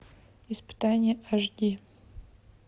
испытание аш ди